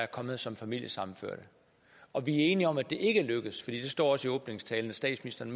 kommet som familiesammenførte og vi er enige om at det ikke er lykkedes for det står også i åbningstalen at statsministeren